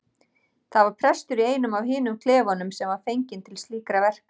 Það var prestur í einum af hinum klefunum sem var fenginn til slíkra verka.